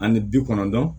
Ani bi kɔnɔntɔn